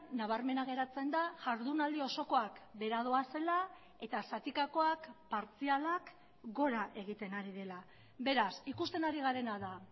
nabarmena geratzen da jardunaldi osokoak behera doazela eta zatikakoak partzialak gora egiten ari dela beraz ikusten ari garena da